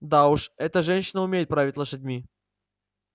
да уж эта женщина умеет править лошадьми